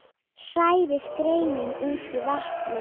Hrærið gerinu út í vatnið.